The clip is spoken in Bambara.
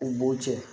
U b'o cɛ